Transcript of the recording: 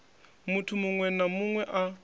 muthu muṅwe na muṅwe a